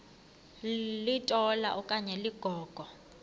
litola okanye ligogo